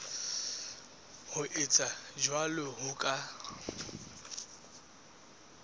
ho etsa jwalo ho ka